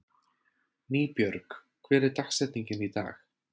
Nýbjörg, hver er dagsetningin í dag?